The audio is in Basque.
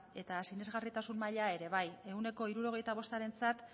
eta sinesgarritasun maila ere bai ehuneko hirurogeita bostarentzat